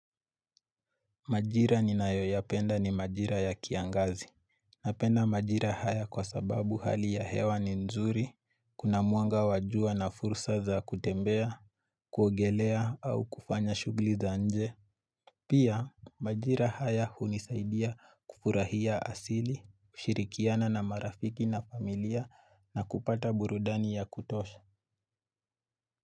Majira ni nayoyapenda ni majira ya kiangazi. Napenda majira haya kwa sababu hali ya hewa ni nzuri, kuna mwanga wajua na fursa za kutembea, kuogelea au kufanya shugli za nje. Pia majira haya hunisaidia kufurahia asili, shirikiana na marafiki na familia na kupata burudani ya kutosha.